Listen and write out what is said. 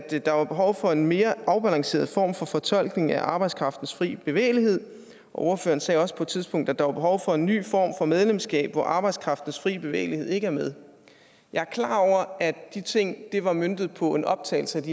at der var behov for en mere afbalanceret form for fortolkning af arbejdskraftens frie bevægelighed og ordføreren sagde også på et tidspunkt at der var behov for en ny form for medlemskab hvor arbejdskraftens frie bevægelighed ikke er med jeg er klar over at de ting var møntet på en optagelse